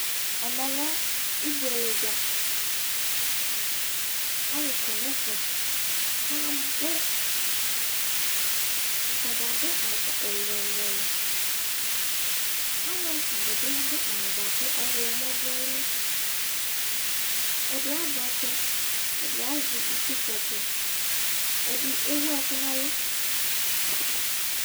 ɛmɛ lɛ ibuele dza Alʋ kɔ nʋ ɛfɛ kʋ abʋ Ata dzz adʋ awʋ ɛlʋ-ɛlʋ Alʋ ɛfʋa dɩ bɩ adʋ awʋ dɩ bʋa kʋ ɔɣlɔmɔ dʋ ayili Ɛdɩ azɛ ɔtsɛ Ɛdɩ azɛ itsukpɔ ɔtsɛ Ɛdɩ ewu ɛkʋ nʋ ɛlʋ